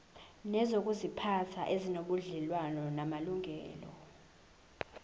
nezokuziphatha ezinobudlelwano namalungelo